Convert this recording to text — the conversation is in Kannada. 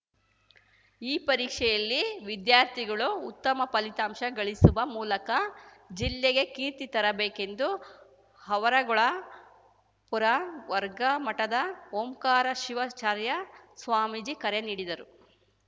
ಈ ಪರೀಕ್ಷೆಯಲ್ಲಿ ವಿದ್ಯಾರ್ಥಿಗಳು ಉತ್ತಮ ಫಲಿತಾಂಶ ಗಳಿಸುವ ಮೂಲಕ ಜಿಲ್ಲೆಗೆ ಕೀರ್ತಿ ತರಬೇಕೆಂದು ಆವರಗೊಳ ಪುರವರ್ಗ ಮಠದ ಓಂಕಾರ ಶಿವಾಚಾರ್ಯ ಸ್ವಾಮೀಜಿ ಕರೆ ನೀಡಿದರು